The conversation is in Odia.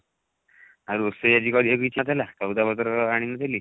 ଆଉ ରୋଷେଇ ଆଜି କରିବାକୁ ଇଛା ଥିଲା ସଉଦା ପତର ଆଣି ନଥିଲି